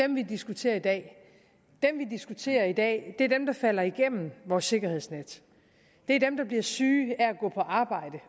dem vi diskuterer i dag dem vi diskuterer i dag er dem der falder igennem vores sikkerhedsnet det er dem der bliver syge af at gå på arbejde